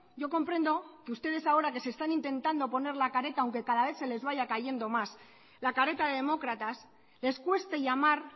yo comprendo que ustedes ahora que se están intentando poner la careta aunque cada vez se les vaya cayendo más la careta de demócratas les cueste llamar